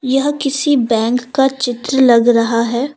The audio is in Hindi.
यह किसी बैंक का चित्र लग रहा है।